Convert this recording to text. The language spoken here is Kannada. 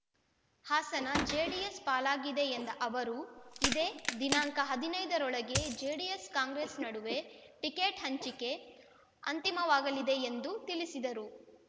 ಹಾಸನ ಜೆಡಿಎಸ್ ಪಾಲಾಗಿವೆ ಎಂದ ಅವರು ಇದೇ ದಿನಾಂಕ ಹದಿನೈದ ರೊಳಗೆ ಜೆಡಿಎಸ್ಕಾಂಗ್ರೆಸ್ ನಡುವೆ ಟಿಕೆಟ್ ಹಂಚಿಕೆ ಅಂತಿಮವಾಗಲಿದೆ ಎಂದು ತಿಳಿಸಿದರು